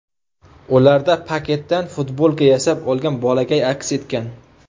Ularda paketdan futbolka yasab olgan bolakay aks etgan.